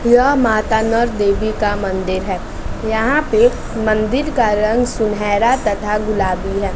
यह माता देवी का मंदिर है यहां पे मंदिर का रंग सुनहरा तथा गुलाबी है।